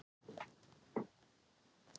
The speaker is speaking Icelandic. Stína, hvenær kemur strætó númer tuttugu og fimm?